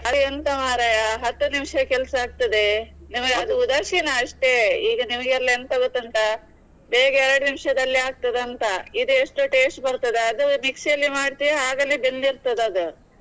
ಅದು ಎಂತ ಮಾರ್ರೆಯ ಹತ್ತು ನಿಮಿಷ ಕೆಲಸ ಆಗ್ತದೆ ನಿಮ್ಗೆ ಅದು ಉದಾಸಿನ ಅಷ್ಟೇ, ಈಗ ನಿಮಿಗೆಲ್ಲಾ ಎಂತ ಗೊತ್ತುಂಟಾ, ಬೇಗ ಎರಡು ನಿಮಿಷದಲ್ಲಿ ಆಗ್ತದೆ ಅಂತ, ಇದು ಎಷ್ಟು taste ಬರ್ತದೆ ಅದು mixie ಯಲ್ಲಿ ಮಾಡ್ತೀರಿ ಆಗಲೇ ಬೆಂದಿರ್ತದೆ ಅದು.